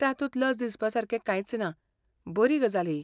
तातूंत लज दिसापासारकें कांयच ना, बरी गजाल ही.